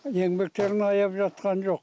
еңбектерін аяп жатқан жоқ